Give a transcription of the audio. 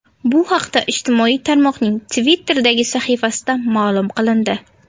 Bu haqda ijtimoiy tarmoqning Twitter’dagi sahifasida ma’lum qilindi .